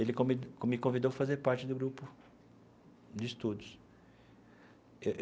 Ele comi me convidou a fazer parte do grupo de estudos.